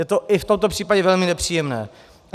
Je to i v tomto případě velmi nepříjemné.